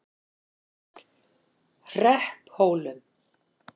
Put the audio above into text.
Hrepphólum